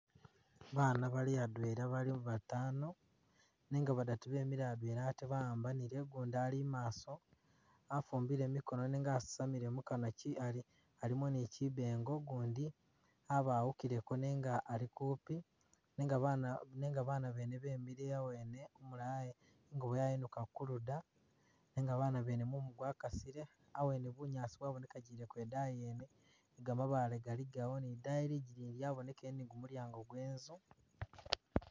Bana bali adwela bali batano nenga badatu bemile adwena ate bawambale ugundi ali’maso afumbile mikono nenga asamile mukanwa alimo nikyibengo gundi abawukileko nenga ali kupi nenga bana bene bemile awene umulala inguno yayinuka kuluda nenga banabene mumu gwakasile awene bunyaasi bwabonekagileko idayi yene nigamabale galigawo nidayi lidigiyi lwabonekele nigumulyango gwenzu .